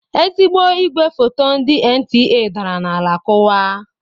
Ezigbo igwe foto ndị NTA dara n'ala kuwaa.